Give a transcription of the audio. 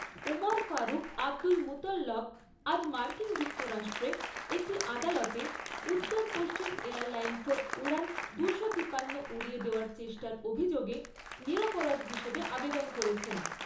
Umar Farouk Abdulmutallab আজ মার্কিন যুক্তরাষ্ট্রে একটি আদালতে উত্তরপশ্চিম এয়ারলাইন্সের উড়ান দু শো তিপান্ন উড়িয়ে দেওয়ার চেষ্টার অভিযোগে 'নিরপরাধ' হিসাবে আবেদন করেছেন।